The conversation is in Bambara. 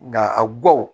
Nka a gawo